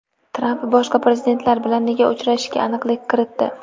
Tramp boshqa prezidentlar bilan nega uchrashishiga aniqlik kiritdi.